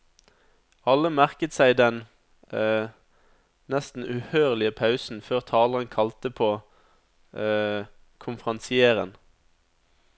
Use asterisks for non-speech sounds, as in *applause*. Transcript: Alle merket seg den *hesitation* nesten uhørlige pausen før taleren kalte på *hesitation* konferansieren.